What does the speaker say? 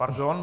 Pardon.